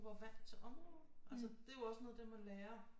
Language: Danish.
Var vant til området altså det er jo også noget af det man lærer